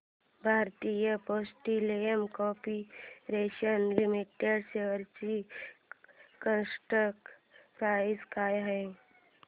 Bharat Petroleum Corporation Limited shares ची current price काय आहे